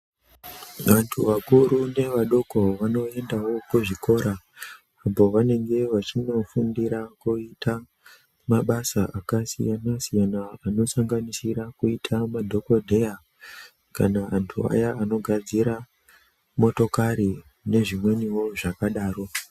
Vantu vakuru nevadoko vanoendawo kuzvikora uko vanenge vachindofundira kuita mabasa akasiyana siyana. Anosanganisira kuita madhokodheya kana vantu vaye vanogadzira motokari nezvimweniwo zvakadaro.